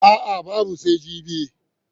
A'a, babu sai jibi.